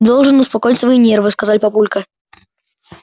должен успокоить свои нервы сказал папулька